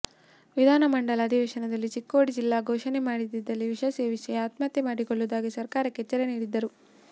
ವಿಧಾನಮಂಡಲ ಅಧಿವೇಶನದಲ್ಲಿ ಚಿಕ್ಕೋಡಿ ಜಿಲ್ಲೆ ಘೋಷಣೆ ಮಾಡದಿದ್ದಲ್ಲಿ ವಿಷ ಸೇವಿಸಿ ಆತ್ಮಹತ್ಯೆ ಮಾಡಿಕೊಳ್ಳುವುದಾಗಿ ಸರ್ಕಾರಕ್ಕೆ ಎಚ್ಚರಿಕೆ ನೀಡಿದ್ದರು